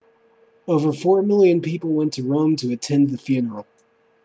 over four million people went to rome to attend the funeral